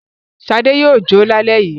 Ṣadé yóò kó lálẹ́ yìí.